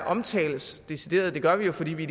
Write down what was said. omtales decideret det gør vi jo fordi vi